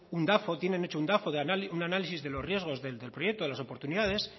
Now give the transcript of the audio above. un dafo tienen hecho un dafo un análisis de los riesgos del proyecto de las oportunidades